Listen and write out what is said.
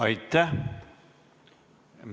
Aitäh!